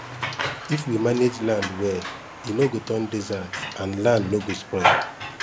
if we manage land well e no go turn desert and land no go spoil